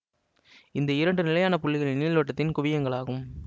இந்த இரண்டு நிலையான புள்ளிகளும் நீள்வட்டத்தின் குவியங்களாகும்